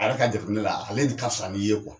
Ale yɛrɛ ka jateminɛ na ale de ka fisa n'i ye